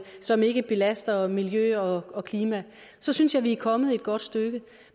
som ikke belaster miljø og og klima så synes jeg vi er kommet godt stykke